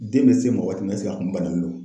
Den bɛ se ma waati min na ɛseke a kun bananen do wa?